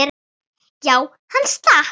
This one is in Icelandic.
Já, hann slapp.